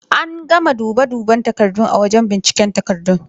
An gama dube duben takardun a wajen bincike takardun.